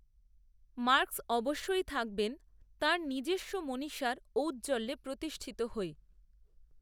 Marx অবশ্যই থাকবেন তাঁর নিজস্ব মনীষার ঔজ্জ্বল্যে প্রতিষ্ঠিত হয়ে